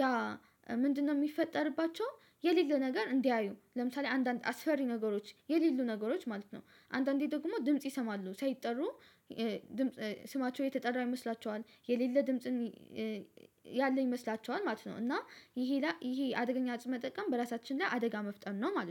ያ ምንድነው የሚፈጠርባቸው? የሌለ ነገር እንዲያዩ ለምሳሌ አንዳንድ አስፈሪ ነገሮች የሌሉ ነገሮች ማለት ነው። አንዳንዴ ደግሞ ድምጽ ይሰማሉ ሳይጠሩ። ስማቸው የተጠራ ይመስላቸዋል የሌለ ድምጽን ያለኝ ይመስላቸዋል ማለት ነው። እና ይሄ ይሄ አደገኛ እፅ መጠቀም በራሳችን ላይ አደጋ መፍጠን ነው ማለት ነው